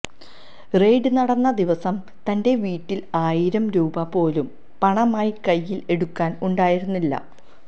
raid നടന്ന ദിവസം തന്റെ വീട്ടില് ആയിരം രൂപ പോലും പണമായി കയ്യില് എടുക്കാന് ഉണ്ടായിരുന്നില്ല